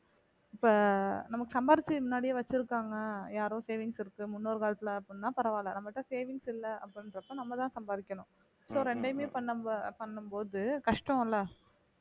இப்ப நமக்கு சம்பாரிச்சி முன்னாடியே வச்சிருக்காங்க யாரோ savings இருக்கு முன்னோர் காலத்துல அப்படின்னா பரவால்ல நம்ம கிட்ட savings இல்ல அப்படின்றப்ப நம்மதான் சம்பாரிக்கணும் so ரெண்டையுமே பண்ணும் போ~ பண்ணும் போது கஷ்டம் இல்லை